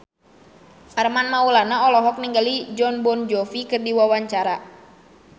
Armand Maulana olohok ningali Jon Bon Jovi keur diwawancara